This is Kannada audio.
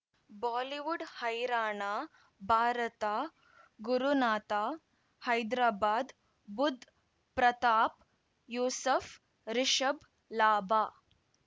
ಬಾಲಿವುಡ್ ಹೈರಾಣ ಭಾರತ ಗುರುನಾಥ ಹೈದ್ರಾಬಾದ್ ಬುಧ್ ಪ್ರತಾಪ್ ಯೂಸುಫ್ ರಿಷಬ್ ಲಾಭ